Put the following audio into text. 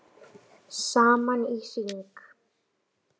Saman í hring